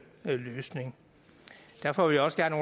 løsning derfor vil jeg også gerne